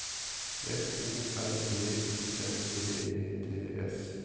F O R B U N D E T S